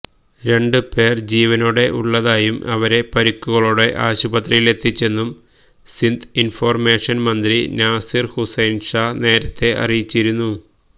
രണ്ട് പേര് ജീവനോടെ ഉള്ളതായും ഇവരെ പരിക്കുകളോടെ ആശുപത്രിയിലെത്തിച്ചെന്നും സിന്ധ് ഇന്ഫര്മേഷന് മന്ത്രി നാസിര് ഹുസൈന് ഷാ നേരത്തെ അറിയിച്ചിരുന്നു